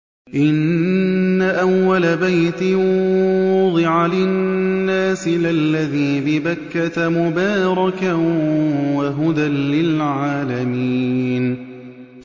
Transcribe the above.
إِنَّ أَوَّلَ بَيْتٍ وُضِعَ لِلنَّاسِ لَلَّذِي بِبَكَّةَ مُبَارَكًا وَهُدًى لِّلْعَالَمِينَ